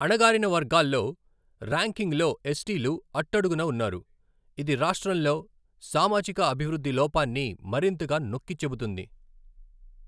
అణగారిన వర్గాల్లో, ర్యాంకింగ్స్లో ఎస్టీలు అట్టడుగున ఉన్నారు, ఇది రాష్ట్రంలో సామాజిక అభివృద్ధి లోపాన్ని మరింతగా నొక్కి చెబుతుంది.